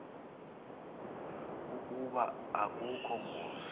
ukuba akukho ngozi